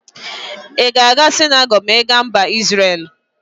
I ga aga sinagogu ma I ga Mba Isrel?